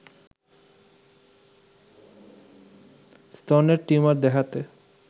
স্তনের টিউমার দেখাতে